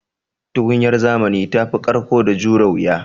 Tukunyar zamanin da tafi ƙarƙo da jure wuya.